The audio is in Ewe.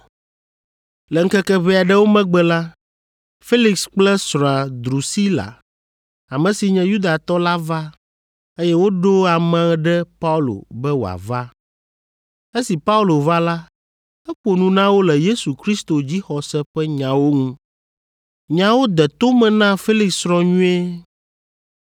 Le ŋkeke ʋɛ aɖewo megbe la, Felix kple srɔ̃a Drusila, ame si nye Yudatɔ la va, eye woɖo ame ɖe Paulo be wòava. Esi Paulo va la, eƒo nu na wo le Yesu Kristo dzixɔse ƒe nyawo ŋu. Nyawo de to me na Felix srɔ̃ nyuie.